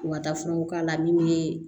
U ka da furaw k'a la min bɛ